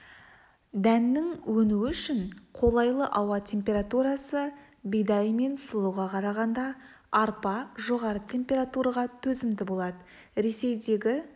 дәннің өнуі үшін қолайлы ауа температурасы бидай мен сұлыға қарағанда арпа жоғары температураға төзімді болады ресейдегі